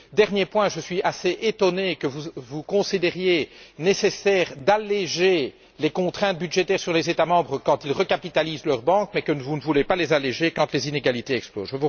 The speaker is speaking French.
Dernier point je suis assez étonné que vous considériez nécessaire d'alléger les contraintes budgétaires sur les États membres quand ils recapitalisent leurs banques mais que vous ne voulez pas les alléger quand les inégalités explosent.